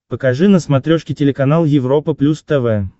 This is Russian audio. покажи на смотрешке телеканал европа плюс тв